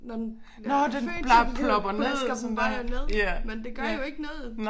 Når den når den født så det plasker den bare ned men det gør jo ikke noget